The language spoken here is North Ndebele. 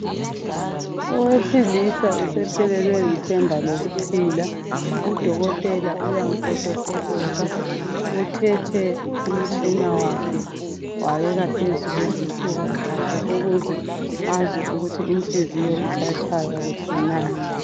Owesilisa usephelelwe lithemba lokuphila, udokotela uyamufotofotoza uthethe umtshina wakhe wawubeka phezu kwesifuba sakhe ukuze bazwe ukuthi inhliziyo isatshaya kuhle na.